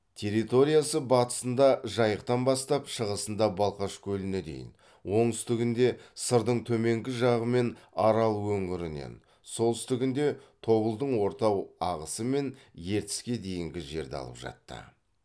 территориясы батысында жайықтан бастап шығысында балқаш көліне дейін оңтүстігінде сырдың төменгі жағы мен арал өңірінен солтүстігінде тобылдың орта ағысы мен ертіске дейінгі жерді алып жатты